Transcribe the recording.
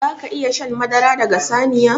Zaka iƴa shan madara daga saniya?